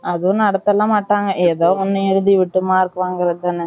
அதும் நடத்தலாம் மாட்டாங்க ஏதோ ஒன்னு எழுதி வச்சு mark வாங்குறதான